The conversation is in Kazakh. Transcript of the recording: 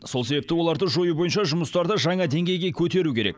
сол себепті оларды жою бойынша жұмыстарды жаңа деңгейге көтеру керек